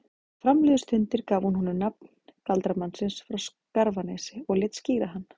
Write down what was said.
Þegar fram liðu stundir gaf hún honum nafn galdramannsins frá Skarfanesi og lét skíra hann